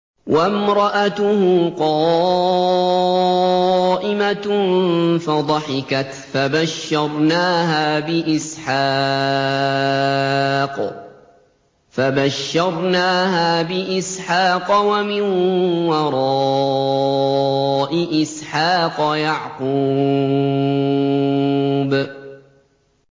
وَامْرَأَتُهُ قَائِمَةٌ فَضَحِكَتْ فَبَشَّرْنَاهَا بِإِسْحَاقَ وَمِن وَرَاءِ إِسْحَاقَ يَعْقُوبَ